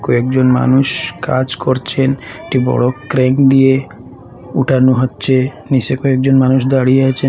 কয়েকজন মানুষ কাজ করছেন একটি বড় ক্রেন দিয়ে উঠানো হচ্ছে নিচে কয়েকজন মানুষ দাঁড়িয়ে আছেন।